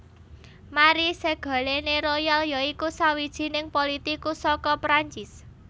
Marie Ségolène Royal ya iku sawijining politikus saka Prancis